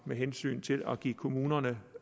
med hensyn til at give kommunerne